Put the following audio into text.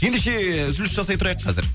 ендеше үзіліс жасай тұрайық қазір